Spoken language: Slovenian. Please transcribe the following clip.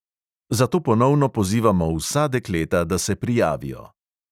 Zato ponovno pozivamo vsa dekleta, da se prijavijo.